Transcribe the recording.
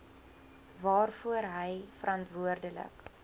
waarvoor hy verantwoordelik